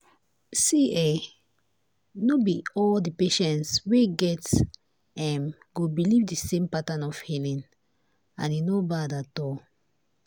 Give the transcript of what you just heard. see[um]no be all the patients wey em go believe the same pattern of healing and e no bad at all.